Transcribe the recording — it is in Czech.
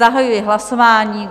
Zahajuji hlasování.